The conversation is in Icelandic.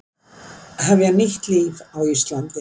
Hefja nýtt líf á Íslandi